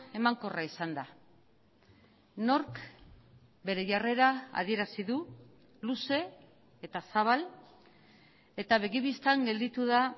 emankorra izan da nork bere jarrera adierazi du luze eta zabal eta begi bistan gelditu da